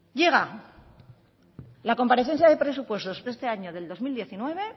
llega la comparecencia de presupuestos de este año del dos mil diecinueve